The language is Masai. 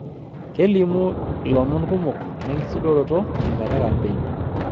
Kelimu lomon kumok lenkisudoroto tenkata e kampeen.